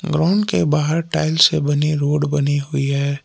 के बाहर टाइल्स से बनी रोड बनी हुई है।